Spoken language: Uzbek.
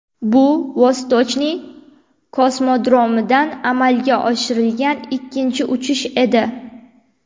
Bu Vostochniy kosmodromidan amalga oshirilgan ikkinchi uchirish edi.